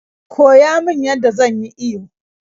Koya min yadda zan yi iyo